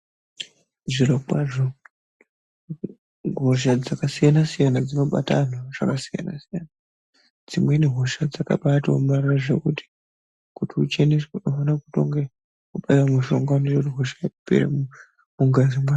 Zviro kwazvo hosha dzakasiyana siyana dzinobata vanhu zvakasiyana siyana dzimweni hosha dzakabatoomarara zvekuti kuti ucheneswe unofane kutonge wabaiwe mushonga inoite kuti hosha ipere mungazi mwako.